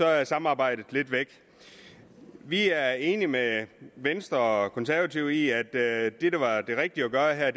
er samarbejdet lidt væk vi er enige med venstre og konservative i at det der er det rigtige at gøre her